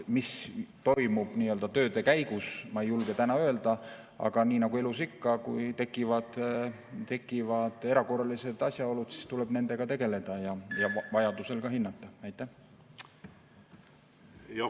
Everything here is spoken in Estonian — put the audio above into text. Mis toimub nii-öelda tööde käigus, ma ei julge täna öelda, aga nii nagu elus ikka, kui tekivad erakorralised asjaolud, siis tuleb nendega tegeleda ja vajadusel ka midagi hinnata.